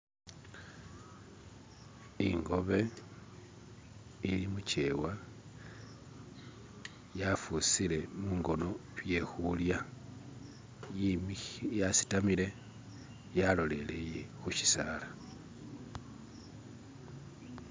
ingobe ili mukyewa yafusile mungono byekulya yasitamile yalolelele khu shisaala